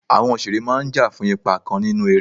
Àwọn òṣèré máà ń jà fún ipa kan nínú eré.